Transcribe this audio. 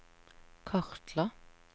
kartla